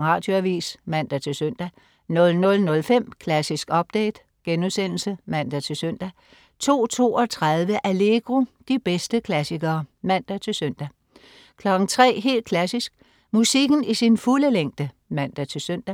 Radioavis (man-søn) 00.05 Klassisk update* (man-søn) 02.32 Allegro. De bedste klassikere (man-søn) 03.00 Helt Klassisk. Musikken i sin fulde længde (man-søn)